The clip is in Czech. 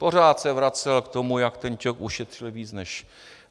Pořád se vracel k tomu, jak ten Ťok ušetřil víc než...